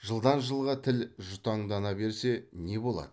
жылдан жылға тіл жұтаңдана берсе не болады